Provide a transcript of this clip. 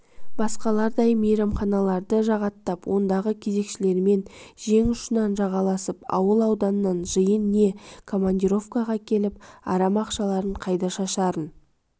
басқалардай мейманханаларды жағаттап ондағы кезекшілермен жең ұшынан жалғасып ауыл ауданнан жиын не командировкаға келіп арам ақшаларын қайда шашарын